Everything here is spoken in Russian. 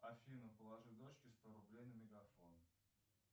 афина положи дочке сто рублей на мегафон